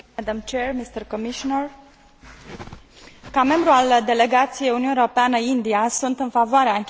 Ca membru al delegației Uniunea Europeană India, sunt în favoarea încheierii unui Acord de liber schimb Uniunea Europeană India.